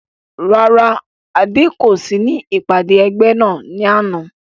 Rárá Adé kò sí ní ìpàdé ẹgbẹ́ ní àná